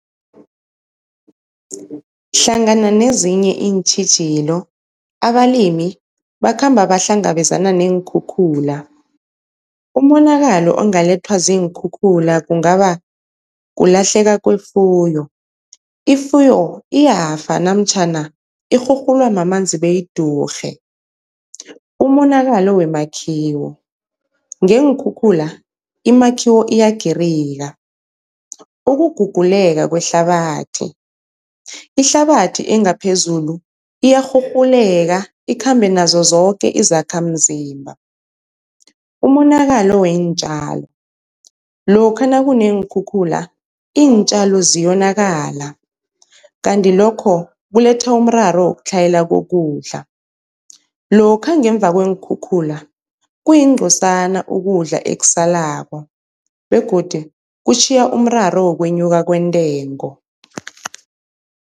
Hlangana nezinye iintjhijilo abalimi bakhamba bahlangabezana neenkhukhula. Umonakalo ongalethwa ziinkhukhula kungaba kulahleka kwefuyo, ifuyo iyafa namtjhana irhurhulwa mamanzi beyidurhe. Umonakalo wemakhiwo, ngeenkhukhula imakhiwo iyagirika. Ukuguguleka kwehlabathi, ihlabathi engaphezulu iyarhurhuleka ikhambe nazo zoke izakhamzimba. Umonakalo weentjalo, lokha nakuneenkhukhula iintjalo ziyonakala, kanti lokho kuletha umraro wokutlhayela kokudla, lokha ngemva kweenkhukhula kuyingcosana ukudla ekusalako begodi kutjhiya umraro wokwenyuka kwentengo.